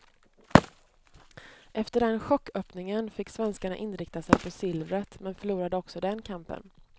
Efter den chocköppningen fick svenskarna inrikta sig på silvret, men förlorade också den kampen.